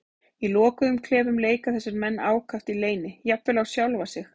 Í lokuðum klefum leika þessir menn ákaft í leyni, jafnvel á sjálfa sig.